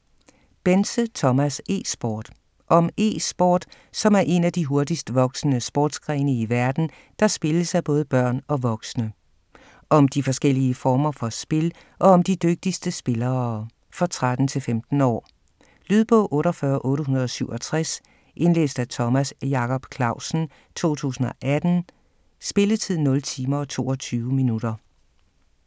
Bense, Thomas: E-sport Om e-sport, som er en af de hurtigst voksende sportsgrene i verden, der spilles af både børn og voksne. Om de forskellige former for spil, og om de dygtigste spillere. For 13-15 år. Lydbog 48867 Indlæst af Thomas Jacob Clausen, 2018. Spilletid: 0 timer, 22 minutter.